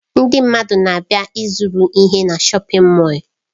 Ndị mmadụ na-abịa ịzụrụ ihe na shọpin Mọll.